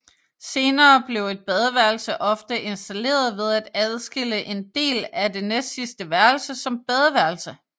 Senere blev et badeværelse ofte installeret ved at adskille en del af det næstsidste værelse som badeværelse